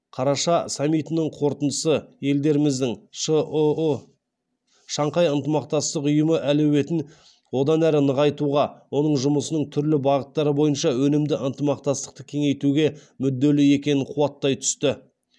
қараша саммитінің қорытындысы елдеріміздің шұұ шанхай ынтымақтастық ұйымы әлеуетін одан ары нығайтуға оның жұмысының түрлі бағыттары бойынша өнімді ынтымақтастықты кеңейтуге мүдделі екенін қуаттай түсті